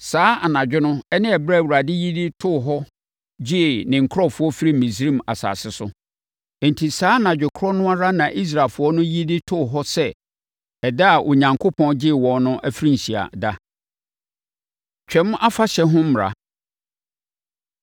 Saa anadwo no ne ɛberɛ a Awurade yi too hɔ de gyee ne nkurɔfoɔ firii Misraim asase so. Enti, saa anadwo korɔ no ara na Israelfoɔ no yi de too hɔ sɛ ɛda a Onyankopɔn gyee wɔn no afirinhyia ɛda. Twam Afahyɛ Ho Mmara